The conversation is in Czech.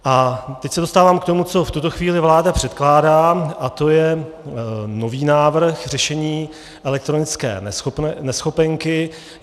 A teď se dostávám k tomu, co v tuto chvíli vláda předkládá, a to je nový návrh řešení elektronické neschopenky.